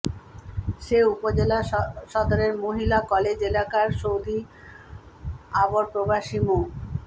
সে উপজেলা সদরের মহিলা কলেজ এলাকার সৌদি আবরপ্রবাসী মো